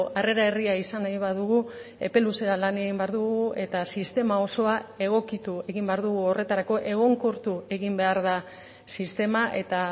harrera herria izan nahi badugu epe luzea lan egin behar dugu eta sistema osoa egokitu egin behar dugu horretarako egonkortu egin behar da sistema eta